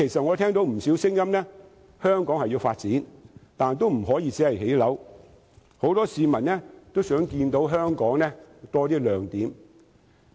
我聽到不少聲音均認為香港需要發展，但不可以只興建房屋，很多市民也想看到香港有更多亮點。